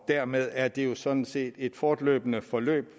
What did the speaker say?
dermed er det jo sådan set et fortløbende forløb